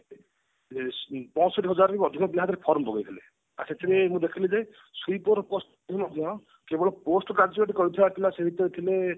ପ ପଂଶଠି ହଜାର ରୁ ଅଧିକ ପିଲା ସେଥିରେ form ପକେଇଥିଲେ ସେଥିରୁ ମୁଁ ଦେଖିଲି ଯେ sweeper post ପାଇଁ ମଧ୍ୟ କେବଳ post graduate କରିଥିବା ସେ ଭିତରେ ଥିଲେ